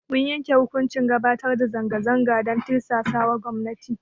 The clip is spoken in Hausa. Mun yanke hukuncin gabatar da zanga zanga dan tirsasawa gwamnati.